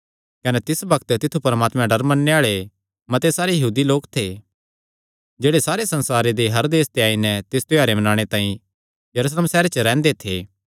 कने तिस बग्त तित्थु परमात्मे दा डर मन्नणे आल़े मते सारे यहूदी लोक थे जेह्ड़े सारे संसारे दे हर देस ते आई नैं तिस त्योहारे मनाणे तांई यरूशलेम सैहरे च रैंह्दे थे